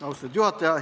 Austatud juhataja!